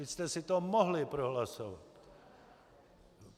Vy jste si to mohli prohlasovat.